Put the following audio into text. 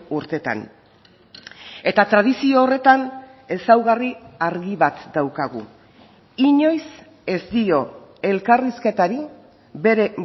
urtetan eta tradizio horretan ezaugarri argi bat daukagu inoiz ez dio elkarrizketari bere